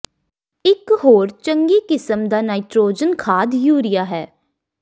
ਇਕ ਹੋਰ ਚੰਗੀ ਕਿਸਮ ਦਾ ਨਾਈਟਰੋਜਨ ਖਾਦ ਯੂਰੀਆ ਹੈ